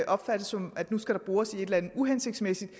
opfattes sådan at nu skal der bores uhensigtsmæssigt i